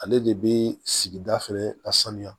Ale de bɛ sigida fɛnɛ ka sanuya